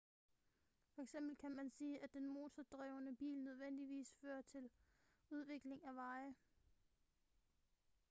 for eksempel kan man sige at den motordrevne bil nødvendigvis fører til udvikling af veje